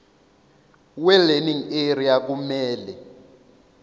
welearning area kumele